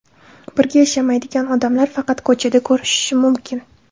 Birga yashamaydigan odamlar faqat ko‘chada ko‘rishishi mumkin.